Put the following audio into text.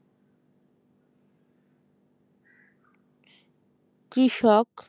কৃষক